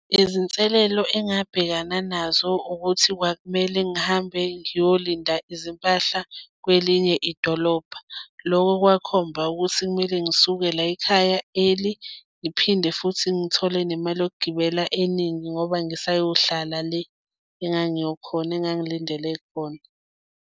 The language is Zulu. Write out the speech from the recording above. Izinselelo engabhekana nazo ukuthi kwakumele ngihambe ngiyolinda izimpahla kwelinye idolobha. Loko kwakhomba ukuthi kumele ngisuke la ekhaya early, ngiphinde futhi ngithole nemali yokugibela eningi ngoba ngisayohlala le engangiyo khona engangilindele khona.